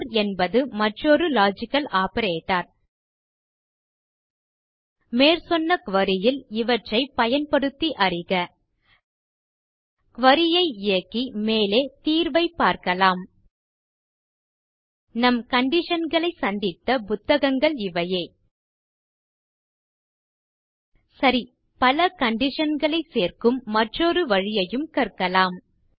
ஒர் என்பது மற்றொரு logical operator மேற்சொன்ன குரி ல் இவற்றை பயன்படுத்தி அறிக குரி ஐ இயக்கி மேலே தீர்வைப் பார்க்கலாம் நம் கண்டிஷன் களைச் சந்தித்த புத்தகங்கள் இவையே சரி பல conditionகளைச் சேர்க்கும் மற்றொரு வழியையும் கற்கலாம்